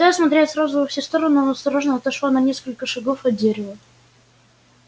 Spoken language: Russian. пытаясь смотреть сразу во все стороны она осторожно отошла на несколько шагов от дерева